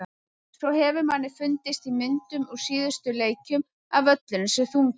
Svo hefur manni fundist í myndum úr síðustu leikjum að völlurinn sé þungur.